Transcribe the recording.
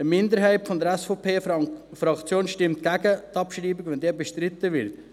Eine Minderheit der SVP-Fraktion stimmt gegen die Abschreibung, wenn diese bestritten wird.